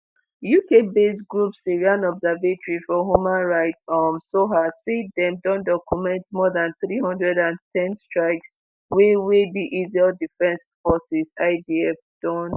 uk based group syrian observatory for human rights um (sohr) say dem don document more dan 310 strikes wey wey di israel defense forces (idf) don